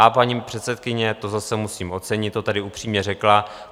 A paní předsedkyně, to zase musím ocenit, to tady upřímně řekla.